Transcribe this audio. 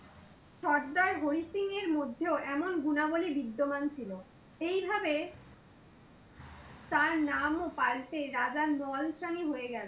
সর্দার হরি সিং এর মধ্যেও এমন গুণাবলি বিদ্যামান ছিল। এইভাবে তার নাম ও পাল্টে রাজার নালোয়া হয়ে গেলো।